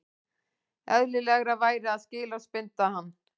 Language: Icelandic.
Eðlilegra væri að skilorðsbinda hann